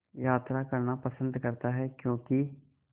यात्रा करना पसंद करता है क्यों कि